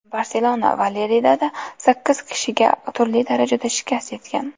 Barselona va Leridada sakkiz kishiga turli darajada shikast yetgan.